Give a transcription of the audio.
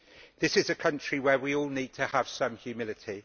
This is a country where we all need to have some humility.